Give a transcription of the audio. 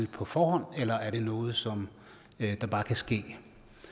på forhånd eller er det noget som bare kan ske